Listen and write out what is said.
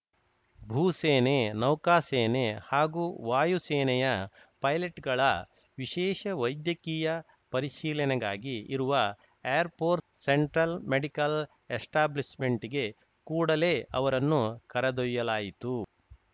ಭೂಸೇನೆ ನೌಕಾಸೇನೆ ಹಾಗೂ ವಾಯುಸೇನೆಯ ಪೈಲಟ್‌ಗಳ ವಿಶೇಷ ವೈದ್ಯಕೀಯ ಪರಿಶೀಲನೆಗಾಗಿ ಇರುವ ಏರ್‌ಫೋರ್ಸ್‌ ಸೆಂಟ್ರಲ್‌ ಮೆಡಿಕಲ್‌ ಎಸ್ಟಾಬ್ಲಿಷ್‌ಮೆಂಟ್‌ಗೆ ಕೂಡಲೇ ಅವರನ್ನು ಕರೆದೊಯ್ಯಲಾಯಿತು